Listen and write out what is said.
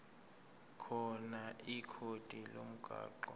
khona ikhodi lomgwaqo